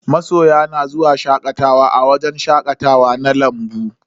Masoya na zuwa shakatawa a wajen shakatawa na lambu.